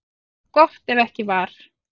Jú, gott ef ekki var.